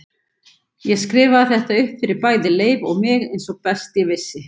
Ég skrifaði þetta upp fyrir bæði Leif og mig eins og best ég vissi.